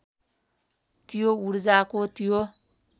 त्यो ऊर्जाको त्यो